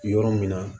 Yɔrɔ min na